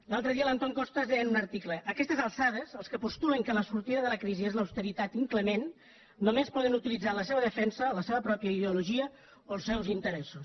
l’altre dia l’antón costas deia en un article a aquestes alçades els que postulen que la sortida de la crisi és l’austeritat inclement només poden utilitzar en la seva defensa la seva pròpia ideologia o els seus interessos